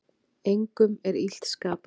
Engum er illt skapað.